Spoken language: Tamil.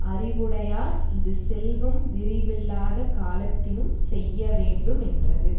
அறிவுடையார் இது செல்வம் விரிவில்லாத காலத்தினும் செய்யவேண்டு மென்றது